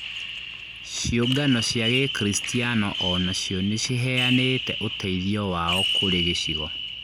Ciũngano cia gĩkristiano onacio nĩciheanĩte ũteithio wao kũrĩ gĩcigo